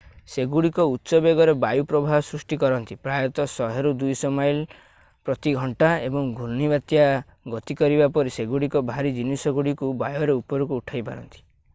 ସେଗୁଡ଼ିକ ଉଚ୍ଚ ବେଗରେ ବାୟୁ ପ୍ରବାହ ସୃଷ୍ଟି କରନ୍ତି ପ୍ରାୟତଃ 100-200 ମାଇଲ / ଘଣ୍ଟା ଏବଂ ଘୂର୍ଣ୍ଣିବାତ୍ୟା ଗତି କରିବା ପରି ସେଗୁଡ଼ିକ ଭାରୀ ଜିନିଷଗୁଡ଼ିକୁ ବାୟୁରେ ଉପରକୁ ଉଠାଇ ପାରନ୍ତି ।